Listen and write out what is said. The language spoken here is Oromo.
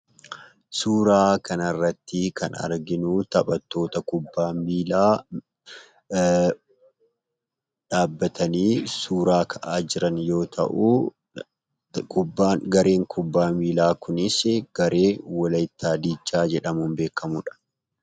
Suuraa kanarratti kan arginuu taphattoota kubbaa miilaa dhaabbatanii suuraa ka'aa jiran yoo ta'uu, kubbaan garee kubbaa miilaa kunisii garee walaayittaa diichaa jedhamuun beekkamudha.